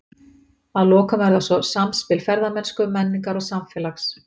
Að lokum er það svo samspil ferðamennsku, menningar og samfélags.